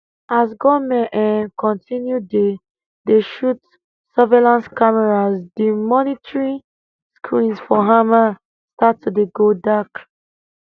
as gunmen um continue dey dey shoot surveillance cameras di monitoring screens for hamal start to dey go dark